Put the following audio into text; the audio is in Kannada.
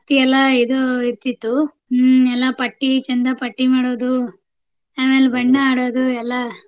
ಎಲ್ಲಾ ಇದು ಇರ್ತಿತ್ತು. ಹ್ಮ್ ಎಲ್ಲಾ ಪಟ್ಟಿ ಚಂದಾಪಟ್ಟಿ ಮಾಡೋದು, ಆಮೇಲ್ ಬಣ್ಣ ಆಡೋದು ಎಲ್ಲಾ.